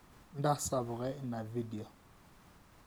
ntasapuka ina vedio